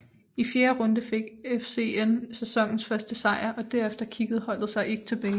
I fjerde runde fik FCN sæsonens første sejr og derefter kiggede holdet sig ikke tilbage